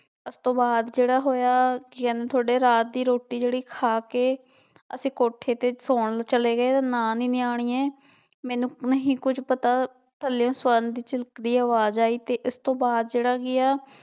ਉਸ ਤੋਂ ਬਾਅਦ ਜਿਹੜਾ ਹੋਇਆ ਤੁਹਾਡੇ ਰਾਤ ਦੀ ਰੋਟੀ ਜਿਹੜੀ ਖਾ ਕੇ ਅਸੀਂ ਕੋਠੇ ਤੇ ਸੌਣ ਚਲੇ ਗਏ, ਨਾ ਨੀ ਨਿਆਣੀਏ ਮੈਨੂੰ ਨਹੀਂ ਕੁੱਝ ਪਤਾ ਥੱਲਿਓਂ ਸਵਰਨ ਦੀ ਝਿਲਕਦੀ ਆਵਾਜ਼ ਆਈ ਤੇ ਇਸ ਤੋਂ ਬਾਅਦ ਜਿਹੜਾ ਕੀ ਹੈ